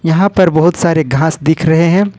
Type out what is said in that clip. यहां पर बहुत सारे घास दिख रहे हैं।